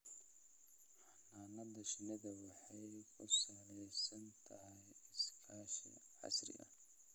Xannaanada shinnidu waxay ku salaysan tahay iskaashi casri ah.